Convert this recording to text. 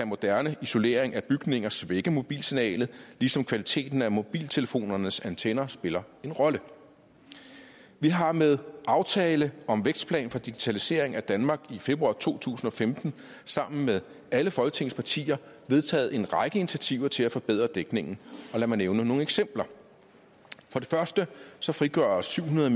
moderne isolering af bygninger svække mobilsignalet ligesom kvaliteten af mobiltelefonernes antenner spiller en rolle vi har med aftalen om vækstplan for digitalisering i danmark i februar to tusind og femten sammen med alle folketingets partier vedtaget en række initiativer til at forbedre dækningen og lad mig nævne nogle eksempler for det første frigøres syv hundrede